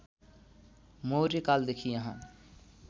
मौर्य कालदेखि यहाँ